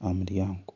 aha muryango.